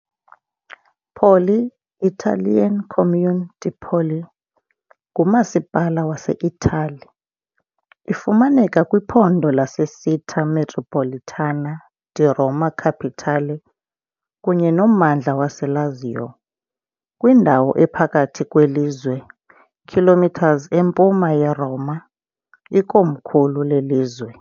Poli, Italian Comune di Poli, ngumasipala waseItali. Ifumaneka kwiphondo laseCittà metropolitana di Roma Capitale kunye nommandla waseLazio, kwindawo ephakathi kwelizwe, km empuma yeRoma, ikomkhulu lelizwe.